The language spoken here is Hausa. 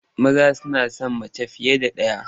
Maza suna son mace fiye da ɗaya.